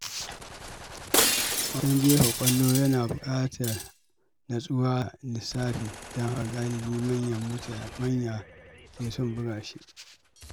Wasan jefa ƙwallo yana buƙatar natsuwa da lissafi, don haka galibi manya ke son buga shi.